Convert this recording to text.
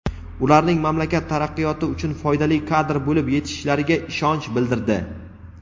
ularning mamlakat taraqqiyoti uchun foydali kadr bo‘lib yetishishlariga ishonch bildirdi.